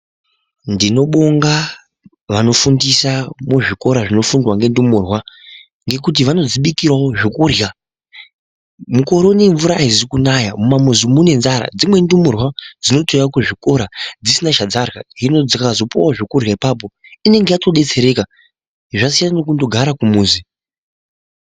Ndinobonga vanofundisa muzvikora zvinofundwa ngendumurwa ngekuti vanodzibikirawo zvokurya. Mukore unowu mvura aizi kunaya mumamuzi mune nzara. Dzimweni ndumurwa dzinotouya kuzvikora dzisina chadzarya hino dzikazopuwawo zvekurya apapo inenge yatodetsereka zvasiyana nekundogara kumuzi.